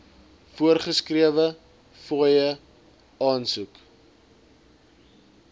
voorgeskrewe fooie aansoek